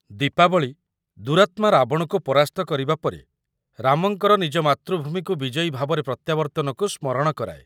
ଦୀପାବଳି ଦୁରାତ୍ମା ରାବଣକୁ ପରାସ୍ତ କରିବା ପରେ ରାମଙ୍କର ନିଜ ମାତୃଭୂମିକୁ ବିଜୟୀ ଭାବରେ ପ୍ରତ୍ୟାବର୍ତ୍ତନକୁ ସ୍ମରଣ କରାଏ ।